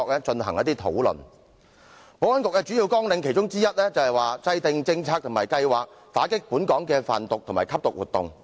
保安局其中一項主要綱領是制訂政策和計劃，打擊本港的販毒及吸毒活動。